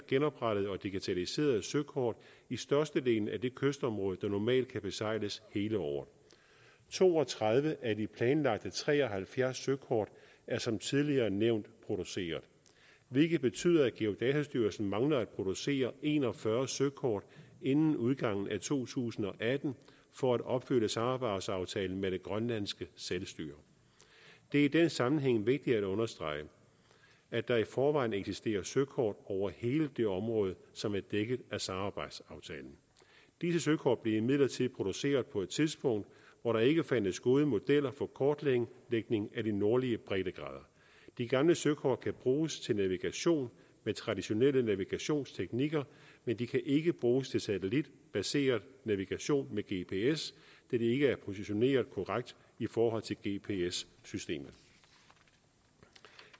genoprettet og digitaliseret søkort i størstedelen af det kystområde der normalt kan besejles hele året to og tredive af de planlagte tre og halvfjerds søkort er som tidligere nævnt produceret hvilket betyder at geodatastyrelsen mangler at producere en og fyrre søkort inden udgangen af to tusind og atten for at opfylde samarbejdsaftalen med det grønlandske selvstyre det er i den sammenhæng vigtigt at understrege at der i forvejen eksisterer søkort over hele det område som er dækket af samarbejdsaftalen disse søkort blev imidlertid produceret på et tidspunkt hvor der ikke fandtes gode modeller for kortlægning af de nordlige breddegrader de gamle søkort kan bruges til navigation med traditionelle navigationsteknikker men de kan ikke bruges til satellitbaseret navigation med gps da de ikke er positioneret korrekt i forhold til gps systemet